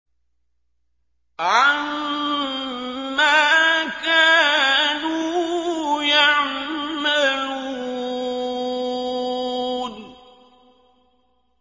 عَمَّا كَانُوا يَعْمَلُونَ